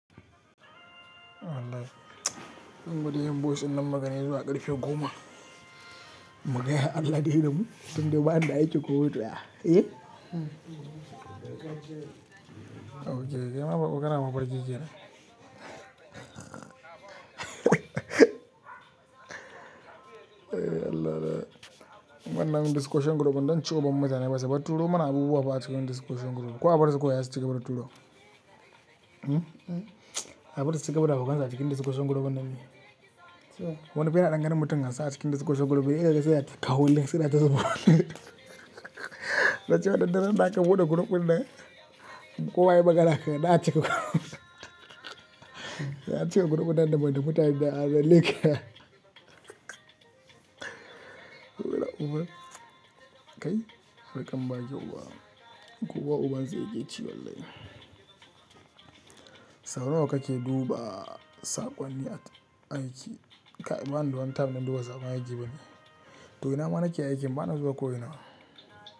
Wallahi bari in gwada yin boyis din nan mugani zuwa ƙarfe goma. Mu gaya Allah zai damu, tun da ba ni da aikin komi. Eh? Ok kaima baƙo kana mafarki kenan. Wayyo Allah na. Wannan n discussion group din zanci uwar mutane basu bar Turo mana abubuwa ba a cikin discussion group. Ko abarsu kawai zasu cigaba da turowa. Hm? Abarsu su cigaba da haukansu a cikin discussion group nan ne. Wani fa yana dan gane mutum hansa a cikin discussion group, yana cewa "ya na ta kawo link suna ta zuba" na ce wannan duk randa aka bude group nan, ko wa yayi magana ka na ci da ace group nan da bana mutane biyar, ban leƙe. Burauba kai, harkar baki uwa. Kowa uban sa yake ci wallahi Sau na wa kake duba saƙonni aiki? Ba ni da wani tam, na duba saƙon aiki bane. To ina ma na ke aiki bana zuwa ko ina.